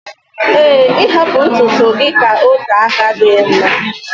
ee, ịhapụ ntutu gị ka ote aka adịghị mma